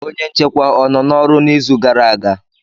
Onye nchekwa o nọ n'ọrụ n'izu gara aga?